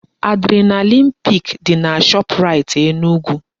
Adrenalin pik dị na Shoprite Enugu